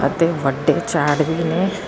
ਦੋ ਵੱਡੇ ਝਾੜ ਵੀ ਨੇ।